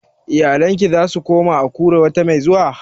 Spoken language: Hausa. Iyalinka za su koma Akure wata mai zuwa?